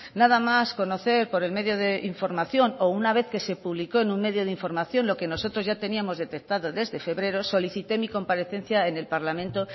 nada más conocer por el medio de información o una vez que se publicó en un medio de información lo que nosotros ya teníamos detectado desde febrero solicité mi comparecencia en el parlamento